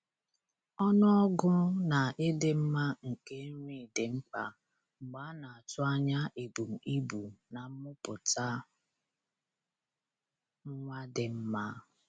Ọnụọgụ na ịdị mma nke nri dị mkpa mgbe a na-atụ anya ebum ibu na mmụputa nwa dị mma